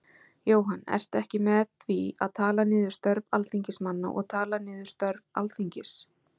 Jóhann: Ertu ekki með því að tala niður störf Alþingismanna og tala niður störf Alþingis?